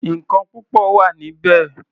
Nǹkan púpọ̀ wà níbẹ̀.